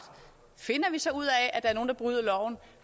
finder vi så ud af at der er nogle der bryder loven